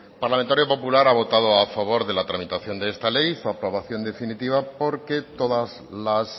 parlamentario popular ha votado a favor de la tramitación de esta ley su aprobación definitiva porque todas las